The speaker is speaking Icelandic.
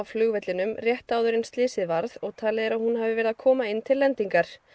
flugvellinum rétt áður en slysið varð og talið er að hún hafi verið að koma inn til lendingar